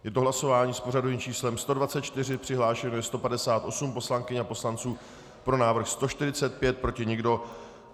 Je to hlasování s pořadovým číslem 124, přihlášeno je 158 poslankyň a poslanců, pro návrh 145, proti nikdo.